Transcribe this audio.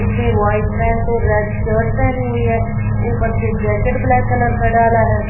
उसने white pant और red shirt पहनी हुई है ऊपर से जैकेट ब्लैक कलर का डाला है।